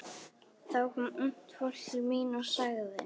Þá kom ungt fólk til mín og sagði